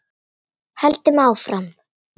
Höldum áfram.